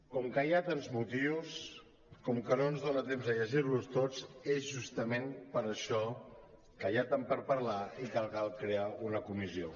com que hi ha tants motius com que no ens dona temps a llegir los tots és justament per això que hi ha tant per parlar i que cal crear una comissió